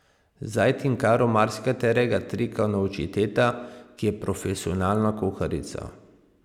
Zdaj Tinkaro marsikaterega trika nauči teta, ki je profesionalna kuharica.